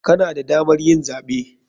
Kana da damar yin zaɓe.